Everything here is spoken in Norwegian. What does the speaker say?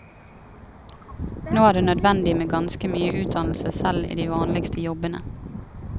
Nå er det nødvendig med ganske mye utdannelse selv i de vanligste jobbene.